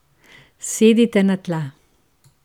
Sedite na tla.